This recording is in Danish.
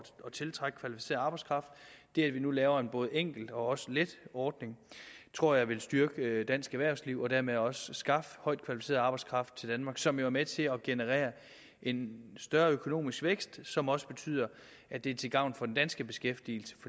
tiltrække kvalificeret arbejdskraft det at vi nu laver en både enkel og let ordning tror jeg vil styrke dansk erhvervsliv og dermed også skaffe højt kvalificeret arbejdskraft til danmark som jo er med til at generere en større økonomisk vækst som også betyder at det er til gavn for den danske beskæftigelse